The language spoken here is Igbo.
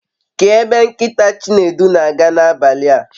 Kee ebe nkita Chinedu n'aga nabali a